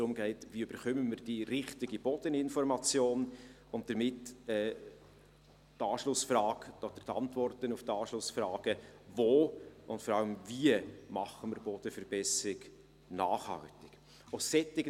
Dort geht es darum, wie wir die richtige Bodeninformation erhalten und damit die Antworten auf die Anschlussfragen, wo und vor allem wie wir Bodenverbesserung nachhaltig machen.